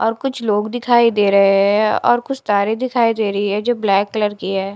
और कुछ लोग दिखाई दे रहे है और कुछ तारे दिखाई दे रही है जो ब्लैक कलर की है।